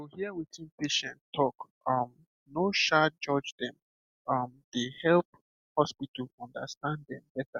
to hear wetin patient talk um no um judge dem um dey help hospital understand dem better